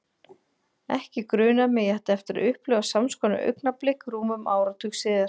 Ekki grunaði mig að ég ætti eftir að upplifa sams konar augnablik rúmum áratug síðar.